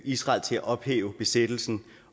israel til at ophæve besættelsen